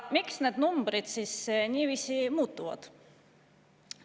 Miks need numbrid siis niiviisi muutuvad?